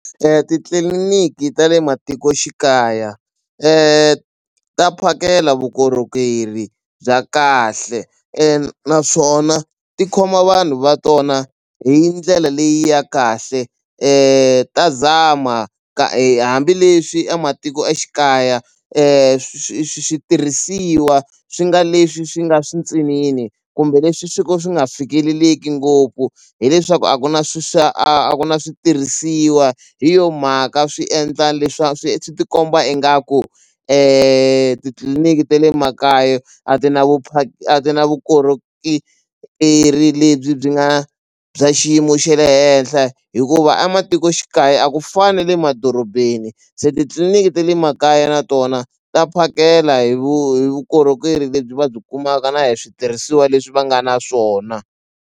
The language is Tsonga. Titliliniki ta le matikoxikaya ta phakela vukorhokeri bya kahle naswona ti khoma vanhu va tona hi ndlela leyi ya kahle ta zama hambileswi ematikoxikaya switirhisiwa swi nga leswi swi nga swintsinini kumbe leswi swi ko swi nga fikeleleki ngopfu hileswaku a ku na swi swa a ku na switirhisiwa hi yona mhaka swi endla swi swi ti komba ingaku titliliniki te le makaya a ti na a ti na lebyi byi nga bya xiyimo xe le henhle hikuva a matikoxikaya a ku fani na le madorobeni se titliliniki te le makaya na tona ta phakela hi vu hi vukorhokeri lebyi va byi kumaka na hi switirhisiwa leswi va nga na swona.